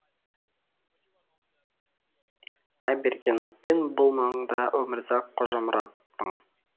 айбергеновпен бұл маңда өмірзақ қожамұраттың